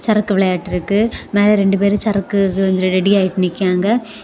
சரக்கு விளையாட்ருக்கு மேல ரெண்டு பேர் சரக்கு ஹு ரெடி ஆயிட்டு நிக்காங்க.